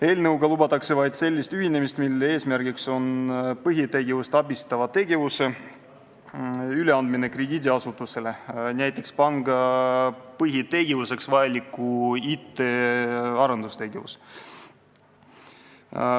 Eelnõuga lubatakse vaid sellist ühinemist, mille eesmärk on põhitegevust toetava tegevuse, näiteks panga põhitegevuseks vajaliku IT arendustegevuse üleandmine krediidiasutusele.